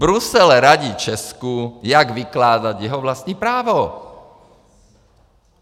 Brusel radí Česku, jak vykládat jeho vlastní právo.